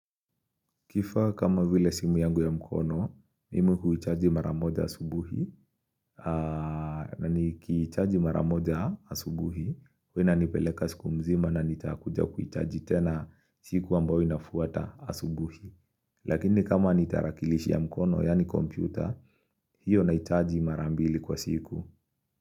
Kifaa kama vile simu yangu ya mkono, mimi huichaji maramoja asubuhi, na nikiichaji maramoja asubuhi, hua ina nipeleka siku mzima na nitakuja kuichaji tena siku ambao inafuata asubuhi. Lakini kama nitarakilishi ya mkono, yani kompyuta, hiyo naichaji marambili kwa siku.